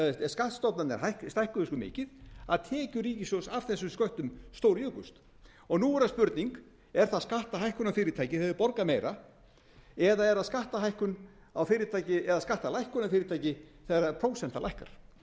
skattstofnarnir stækkuðu svo mikið að tekjur ríkissjóðs af þessum sköttum stórjukust nú er það spurning er það skattahækkun á fyrirtæki þegar þau borga meira eða er það skattahækkun á fyrirtæki eða skattalækkun á fyrirtæki þegar prósentan lækkar